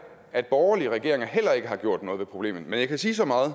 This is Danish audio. at borgerlige regeringer heller ikke har gjort noget ved problemet men jeg kan sige så meget